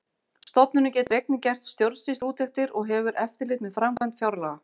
Stofnunin getur einnig gert stjórnsýsluúttektir og hefur eftirlit með framkvæmd fjárlaga.